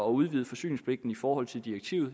udvide forsyningspligten i forhold til direktivet